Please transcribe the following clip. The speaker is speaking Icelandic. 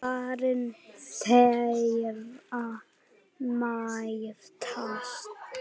Varir þeirra mætast.